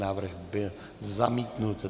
Návrh byl zamítnut.